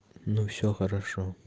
ну всё хорошо